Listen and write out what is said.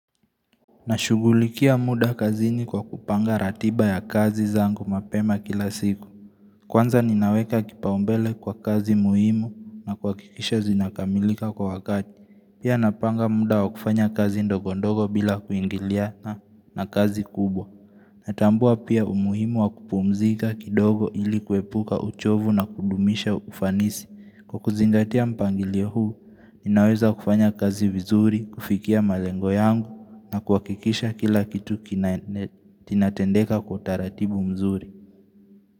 Nashughulikia muda kazini kwa kupanga ratiba ya kazi zangu mapema kila siku. Kwanza ninaweka kipaumbele kwa kazi muhimu na kuha kikisha zinakamilika kwa wakati. Pia napanga muda wa kufanya kazi ndogondogo bila kuingiliana na kazi kubwa. Natambua pia umuhimu wa kupumzika kidogo ili kuepuka uchovu na kudumisha ufanisi. Kwa kuzingatia mpangilio huu, ninaweza kufanya kazi vizuri, kufikia malengo yangu na kuhakikisha kila kitu kinatendeka kwa utaratibu mzuri.